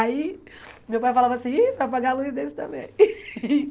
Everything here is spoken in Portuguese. Aí, meu pai falava assim, ih você vai apagar a luz desse também.